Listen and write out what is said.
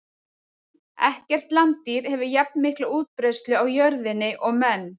Ekkert landdýr hefur jafnmikla útbreiðslu á jörðinni og menn.